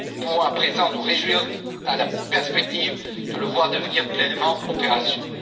Nous pouvons à présent nous réjouir à la perspective de le voir devenir pleinement opérationnel.